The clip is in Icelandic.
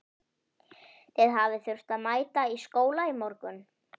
Þið hafið þurft að mæta í skóla í morgun?